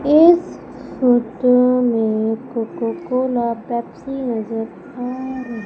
इस फोटो में Coca Cola Pepsi नजर आ--